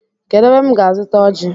Kedụ ebe m ga azuta ọji?